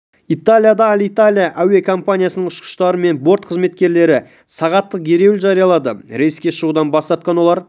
италияда аль-италия әуе комипаниясының ұшқыштары мен борт қызметкерлері сағаттық ереуіл жариялады рейске шығудан бас тартқан олар